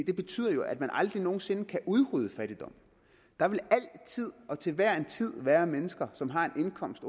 jo betyder at man aldrig nogen sinde kan udrydde fattigdom der vil altid og til hver en tid være mennesker som har en indkomst